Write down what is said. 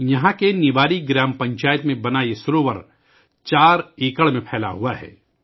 یہاں کی نیواری گرام پنچایت میں بنی یہ جھیل 4 ایکڑ پر پھیلی ہوئی ہے